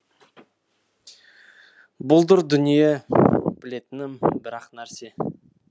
бұлдыр дүние білетінім бір ақ нәрсе